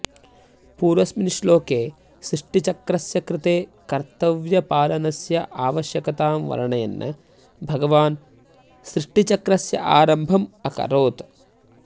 पूर्वस्मिन् श्लोके सृष्टिचक्रस्य कृते कर्तव्यपालनस्य आवश्यकतां वर्णयन् भगवान् सृष्टिचक्रस्य आरम्भम् अकरोत्